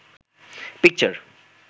picture